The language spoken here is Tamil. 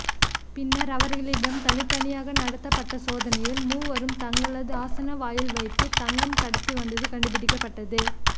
பின்னர் அவர்களிடம் தனித்தனியாக நடத்தப்பட்ட சோதனையில் மூவரும் தங்களது ஆசனவாயில் வைத்து தங்கம் கடத்தி வந்தது கண்டுபிடிக்கப்பட்டது